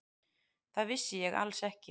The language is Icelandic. Það vissi ég alls ekki.